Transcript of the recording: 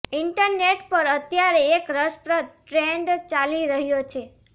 internet પર અત્યારે એક રસપ્રદ ટ્રેન્ડ ચાલી રહ્યો છે